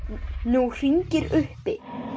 Nú hringir uppi.